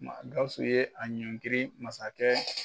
Maa Gawusu ye a ɲɔnkiri masakɛ